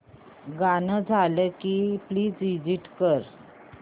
गाणं झालं की प्लीज एग्झिट कर